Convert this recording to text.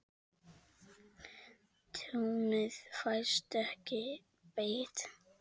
Tjónið fæst ekki bætt.